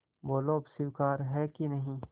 बोलो अब स्वीकार है कि नहीं